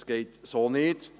Das geht so nicht!